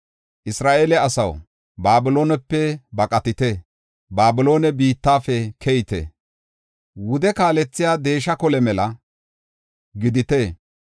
“Isra7eele asaw, Babiloonepe baqatite; Babiloone biittafe keyite; wude kaalethiya kole deesha mela gidite.